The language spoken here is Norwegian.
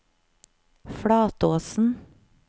Flatåsen